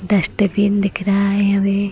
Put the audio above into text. Dustbin दिख रहा है हमें।